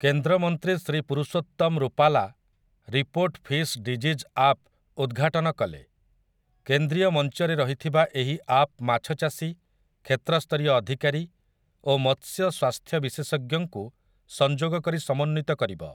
କେନ୍ଦ୍ରମନ୍ତ୍ରୀ Shri Purushottam Rupala 'report fish disease app' ଉଦ୍ଘାଟନ କଲେ । କେନ୍ଦ୍ରୀୟ ମଞ୍ଚରେ ରହିଥିବା ଏହି ଆପ୍ ମାଛଚାଷୀ, କ୍ଷେତ୍ରସ୍ତରୀୟ ଅଧିକାରୀ ଓ ମତ୍ସ୍ୟ ସ୍ୱାସ୍ଥ୍ୟ ବିଶେଷଜ୍ଞଙ୍କୁ ସଂଯୋଗ କରି ସମନ୍ୱିତ କରିବ ।